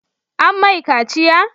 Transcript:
An mai kaciya?